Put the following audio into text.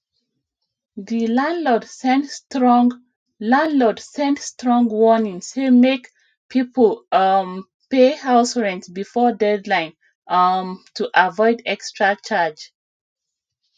di landlord send strong landlord send strong warning say make people um pay house rent before deadline um to avoid extra charge